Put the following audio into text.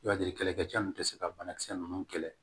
I b'a di kɛlɛkɛ cɛ in tɛ se ka banakisɛ ninnu kɛlɛ